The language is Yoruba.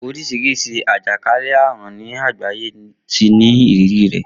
Oríṣiríṣi àjàkánlẹ̀ àrùn ni àgbáyé ti ní ìrírí rẹ̀.